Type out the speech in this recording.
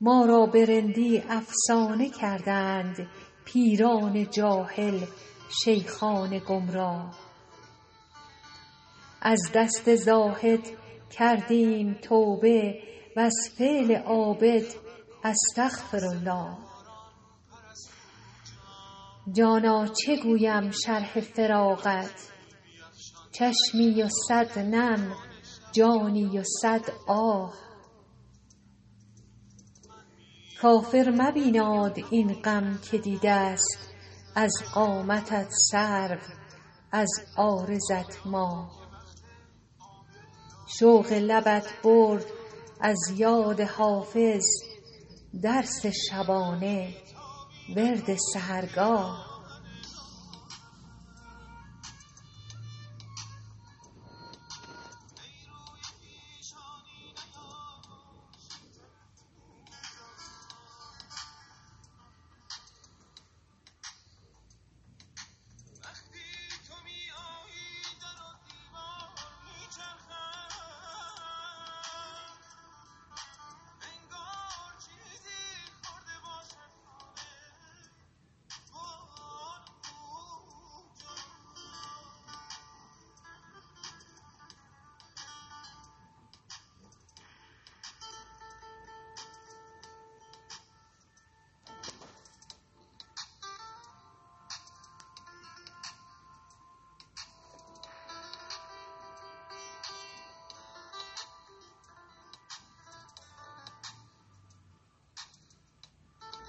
ما را به رندی افسانه کردند پیران جاهل شیخان گمراه از دست زاهد کردیم توبه و از فعل عابد استغفرالله جانا چه گویم شرح فراقت چشمی و صد نم جانی و صد آه کافر مبیناد این غم که دیده ست از قامتت سرو از عارضت ماه شوق لبت برد از یاد حافظ درس شبانه ورد سحرگاه